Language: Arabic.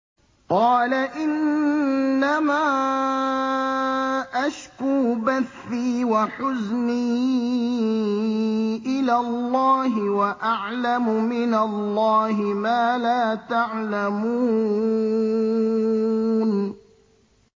قَالَ إِنَّمَا أَشْكُو بَثِّي وَحُزْنِي إِلَى اللَّهِ وَأَعْلَمُ مِنَ اللَّهِ مَا لَا تَعْلَمُونَ